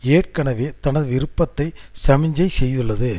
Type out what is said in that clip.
ஏற்கனவே தன விருப்பத்தை சமிக்ஞை செய்துள்ளது